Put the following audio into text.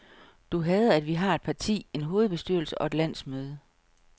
Du hader, at vi har et parti, en hovedbestyrelse og et landsmøde.